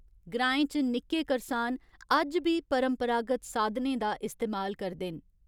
ग्राएं च निक्के करसान अज्ज बी परंपरागत साधनें दा इस्तेमाल करदे न।